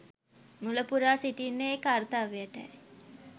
මුලපුරා සිටින්නේ ඒ කර්තව්‍යයටයි.